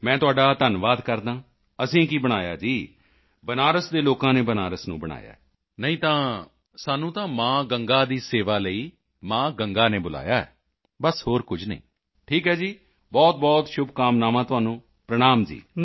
ਮੈਂ ਤੁਹਾਡਾ ਧੰਨਵਾਦ ਕਰਦਾ ਹਾਂ ਅਸੀਂ ਕੀ ਬਣਾਇਆ ਜੀ ਬਨਾਰਸ ਦੇ ਲੋਕਾਂ ਨੇ ਬਨਾਰਸ ਨੂੰ ਬਣਾਇਆ ਹੈ ਨਹੀਂ ਤਾਂ ਅਸੀਂ ਤਾਂ ਮਾਂ ਗੰਗਾ ਦੀ ਸੇਵਾ ਦੇ ਲਈ ਮਾਂ ਗੰਗਾ ਨੇ ਬੁਲਾਇਆ ਹੈ ਬਸ ਹੋਰ ਕੁਝ ਨਹੀਂ ਠੀਕ ਹੈ ਜੀ ਬਹੁਤਬਹੁਤ ਸ਼ੁਭਕਾਮਨਾਵਾਂ ਤੁਹਾਨੂੰ ਪ੍ਰਣਾਮ ਜੀ